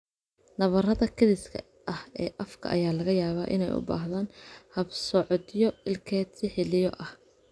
Nabarrada kediska ah ee afka ayaa laga yaabaa inay u baahdaan habsocodyo ilkeed si xilliyo ah.